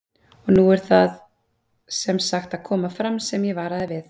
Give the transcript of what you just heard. Og nú er það sem sagt að koma fram sem ég varaði við